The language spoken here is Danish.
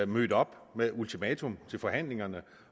mødte op med et ultimatum til forhandlingerne